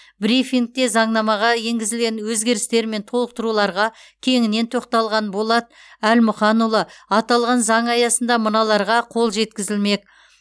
брифингте заңнамаға енгізілген өзгерістер мен толықтыруларға кеңінен тоқталған болат әлмұханұлы аталған заң аясында мыналарға қол жеткізілмек